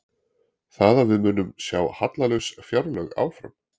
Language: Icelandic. Þannig að við munum sjá hallalaus fjárlög áfram?